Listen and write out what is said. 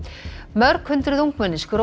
mörg hundruð ungmenni